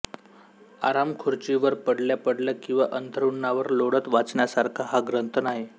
आरामखुर्चीवर पडल्या पडल्या किंवा अंथरुणावर लोळत वाचण्यासारखा हा ग्रंथ नाही